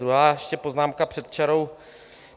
Druhá, ještě poznámka před čarou.